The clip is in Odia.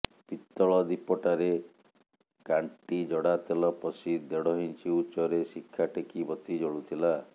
ପିତଳ ଦୀପଟାରେ କାଣ୍ଟି ଜଡ଼ାତେଲ ପଶି ଦେଢ଼ଇଞ୍ଚ ଉଚ୍ଚରେ ଶିଖା ଟେକି ବତୀ ଜଳୁଥିଲା